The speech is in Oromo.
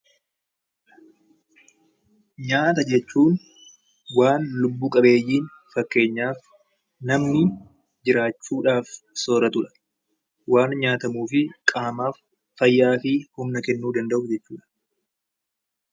Nyaata jechuun wanta lubbu qabeeyyiin fakkeenyaaf namni jiraachuudhaaf soorratudha. Waan nyaatamuu fi qaamaaf fayyaa fi humna kennuu danda'u jechuudha.